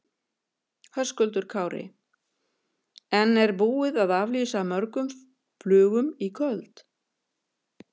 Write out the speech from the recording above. Höskuldur Kári: En er búið að aflýsa mörgum flugum í kvöld?